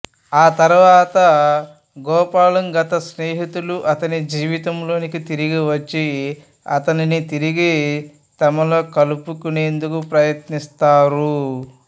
ఆ తరువాత గోపాలం గత స్నేహితులు అతని జీవితంలోకి తిరిగి వచ్చి అతనిని తిరిగి తమలో కలుపుకునేందుకు ప్రయత్నిస్తారు